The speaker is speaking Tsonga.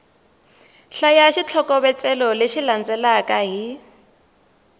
hlaya xitlhokovetselo lexi landzelaka hi